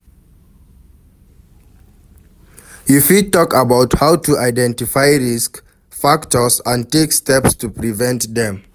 You fit talk about how to identify risk factors and take steps to prevent dem.